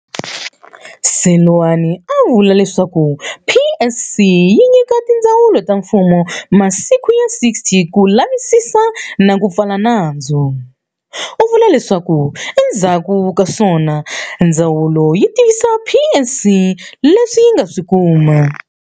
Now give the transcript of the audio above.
Seloane a vula leswaku PSC yi nyika tindzawulo ta mfumo masiku ya 60 ku lavisisa na ku pfala nandzu. U vula leswaku endzhaku kaswona ndzawulo yi tivisa PSC leswi yi nga swi kuma.